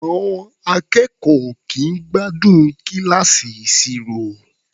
À̀ọn akẹ́kọ̀ọ́ ò kì í gbádùn kíláàsì ìṣirò.